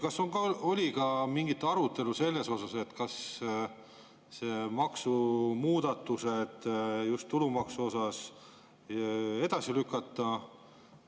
Kas oli ka mingi arutelu selles osas, et maksumuudatused just tulumaksu osas edasi lükata?